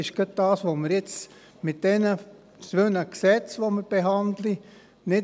Und genau das wollen wir mit den beiden Gesetzen, die wir jetzt behandeln, nicht.